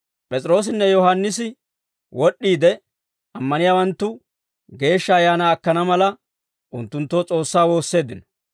P'es'iroossinne Yohaannisi wod'd'iide, ammaniyaawanttu Geeshsha Ayaanaa akkana mala, unttunttoo S'oossaa woosseeddino;